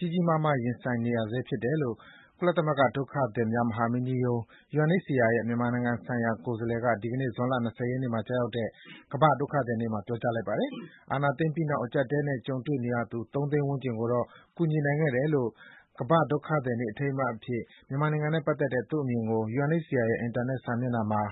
ြီးကြီးမားမား ရင်ဆိုင်နေရဆဲ ဖြစ်တယ်လို့ ကုလသမဂ္ဂ ဒုက္ခသည်များ မဟာမင်းကြီးရုံး (UNHCR) ရဲ့ မြန်မာနိုင်ငံဆိုင်ရာ ကိုယ်စားလှယ်က ဒီနေ့ ကမ္ဘာ့ဒုက္ခသည်နေ့မှာ ပြောပါတယ်။ ကမ္ဘာ့ဒုက္ခသည်နေ့ အထိမ်းအမှတ်အဖြစ် မြန်မာနိုင်ငံနဲ့ပတ်သက်တဲ့ သူ့အမြင်ကို UNHCR ရဲ့ အင်တာနက် စာမျက်နှာမှာ